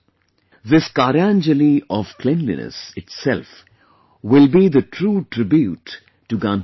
This Karyanjali of cleanliness itself will be the true tribute to Gandhiji